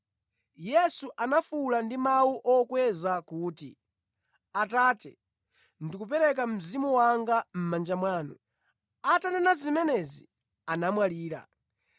Yesu anafuwula ndi mawu okweza kuti, “Atate, ndikupereka mzimu wanga mʼmanja mwanu.” Atanena zimenezi, anamwalira.